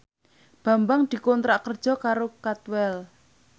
Bambang dikontrak kerja karo Cadwell